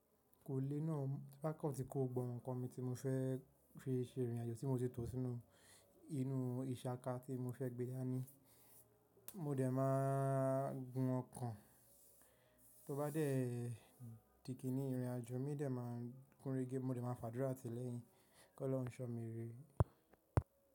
Kò lé náà, tin bákan tí kò gbọ́gbo nǹkan mi tí mo fẹ́ fi se ìrìn àjò tí mo sì tò sí inú ìsaka tí mo fẹ́ gbé dání, mo dẹ̀ máa gun ọko Tó bá dé di kinní ìrìn àjò, mi dẹ̀ máa gúnregé, mo dẹ̀ máa fàdúrà tilẹ̀yin kí Ọlọ́run ṣọ mí rè.